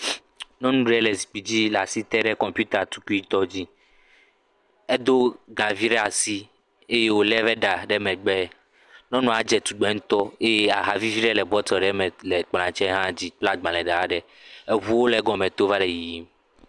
Nyɔnu ɖe le zikpui dzi le asi te ɖe kɔmputa tukui tɔ dzi. Edo gavi ɖe asi eye wole eƒe da ɖe megbe, Nyɔnua dze tugbe ŋutɔ. Aha vivi aɖe le bɔteli ɖe le kplɔ tse ha dzi kple agbalẽ ɖe hã ɖe. eŋuwo le egɔme tom va le yiyim.